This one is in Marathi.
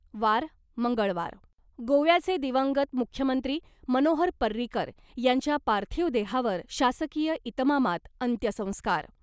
वार मंगळवार, गोव्याचे दिवंगत मुख्यमंत्री मनोहर पर्रीकर यांच्या पार्थिव देहावर शासकीय इतमामात अंत्यसंस्कार.